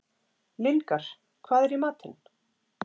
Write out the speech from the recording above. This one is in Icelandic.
Lyngar, hvað er í matinn?